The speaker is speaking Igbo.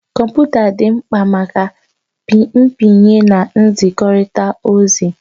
Kọmputa dị mkpa maka pịnye na nzikọrịta ozi.